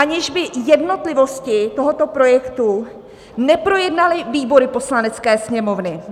Aniž by jednotlivosti tohoto projektu neprojednaly výbory Poslanecké sněmovny.